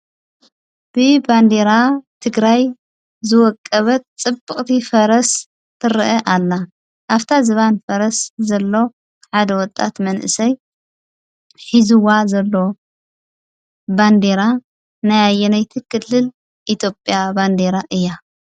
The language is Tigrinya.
ብ ባንዴራ ትግራይ ዝወቀበት ጽብቕቲ ፈረስ ትርአ ኣላ ኣፍታ ዝባን ፈረስ ዘሎ ሓደ ወጣት መንእሰይ ኂዝዋ ዘሎ ባንዴራ ናያየነይቲ ክልል ኢጢጵያ ባንዴራ እያ?